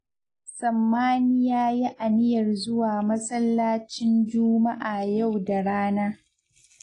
Sammani ya yi aniyar zuwa masallacin Juma'a yau da rana